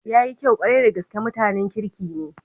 Yayi kyau kwarai da gaske, mutanen kirki ne.